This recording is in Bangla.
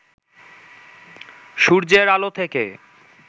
সূর্যের আলো থেকে